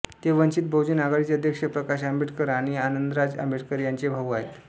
ते वंचित बहुजन आघाडीचे अध्यक्ष प्रकाश आंबेडकर आणि आनंदराज आंबेडकर यांचे भाऊ आहेत